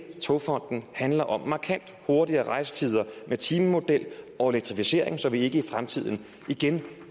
togfonden handler om markant kortere rejsetider med timemodel og elektrificering så vi ikke i fremtiden igen